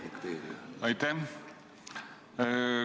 Aitäh!